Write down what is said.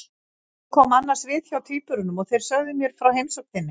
Ég kom annars við hjá tvíburunum og þeir sögðu mér frá heimsókn þinni.